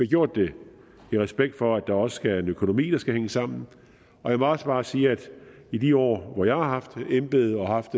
gjort det i respekt for at der også er en økonomi der skal hænge sammen og jeg må også bare sige at i de år hvor jeg har haft embedet og har haft